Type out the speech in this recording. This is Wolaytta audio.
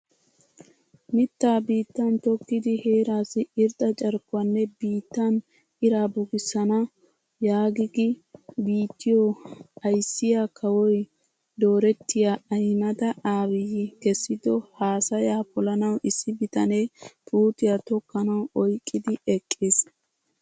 Mittaa biittan tokkidi heerassi irxxa carkkuwaanne biittan iraa bukkisana yaagigi biittiyoo ayssiyaa kawoy dorrotiyaa Ahimeda Aabiy keesido haasayaa polanaw issi bitanee puutiyaa tokkanawu oyqqidi eqqis!